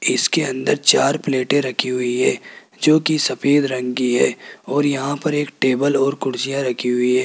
इसके अंदर चार प्लेटे रखी हुई है जो की सफेद रंग की है और यहां पर एक टेबल और कुर्सियां रखी हुई है।